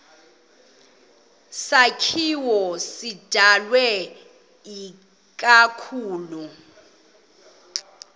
sakhiwo sidalwe ikakhulu